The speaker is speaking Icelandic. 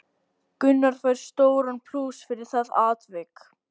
Gunnar fær stóran plús fyrir það atvik.